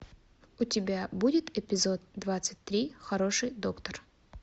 у тебя будет эпизод двадцать три хороший доктор